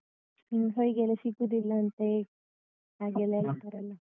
ಇನ್ ಹೊಯ್ಗೆಯೆಲ್ಲ ಸಿಕ್ಕುದಿಲ್ಲಂತೆ ಹಾಗೆಲ್ಲ ಹೇಳ್ತಾರಲ್ಲ?